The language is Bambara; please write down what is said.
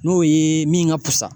N'o ye min ka pusa.